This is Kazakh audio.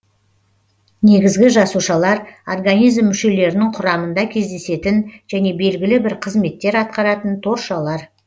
негізгі жасушалар организм мүшелерінің құрамында кездесетін және белгілі бір қызметтер атқаратын торшалар